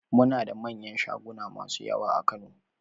Muna da manyan shaguna masu yawa a Kano